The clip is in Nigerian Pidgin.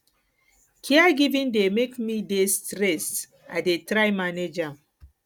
caregiving dey make me dey stressed i dey try manage am